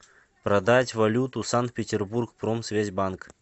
продать валюту санкт петербург промсвязьбанк